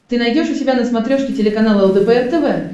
ты найдешь у себя на смотрешке телеканал лдпр тв